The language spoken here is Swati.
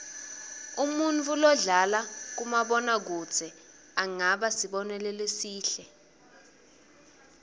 umuntfu lodlala kumabona kudze angaba sibonelo lesihle